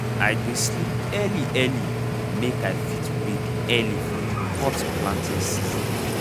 i dey sleep early early make i fit wake early for di hot planting season.